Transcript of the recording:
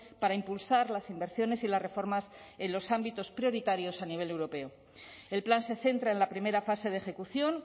para impulsar las inversiones y las reformas en los ámbitos prioritarios a nivel europeo el plan se centra en la primera fase de ejecución